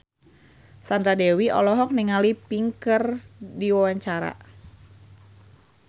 Sandra Dewi olohok ningali Pink keur diwawancara